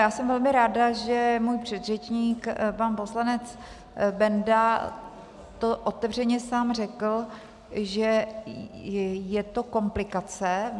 Já jsem velmi ráda, že můj předřečník pan poslanec Benda tu otevřeně sám řekl, že je to komplikace.